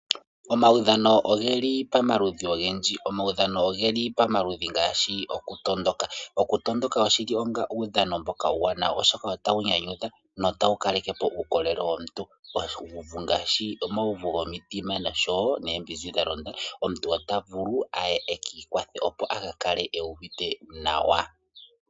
Omawudhano ogeli pamaludhudhi ogendji, omawudhano ogeli pamaludhudhi ngaashi okutondoka. Okutondoka oshili onga uudhano mboka uuwanawa oshoka otawu nyanyudha notawu kalekepo uukolele womuntu, ngaashi uuvu womutima, noombinzi dhalonda omuntu ota vulu aye ekiikwathe opo aka kale uuvite nawa.